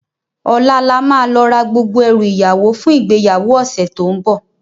Òlá làmá lò rá gbógbó èrú iyáwó fún igbéyáwó òsè tó n bò